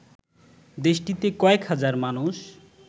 দেশটিতে কয়েক হাজার মানুষ